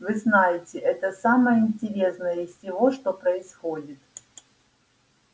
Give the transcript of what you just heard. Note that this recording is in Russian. вы знаете это самое интересное из всего что происходит